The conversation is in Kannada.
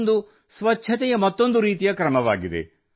ಇದೊಂದು ಸ್ವಚ್ಛತೆಯ ಮತ್ತೊಂದು ರೀತಿಯ ಕ್ರಮವಾಗಿದೆ